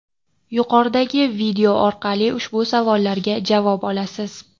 Yuqoridagi video orqali ushbu savollarga javob olasiz.